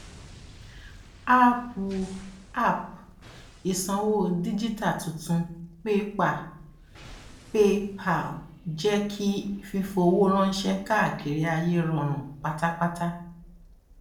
àápú app ìsanwó díjítà tuntun pépà paypal jẹ kí fífowó ránṣẹ káàkiri ayé rọrùn pátápátá